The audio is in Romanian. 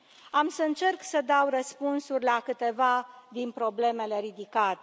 Am să încerc să dau răspunsuri la câteva din problemele ridicate.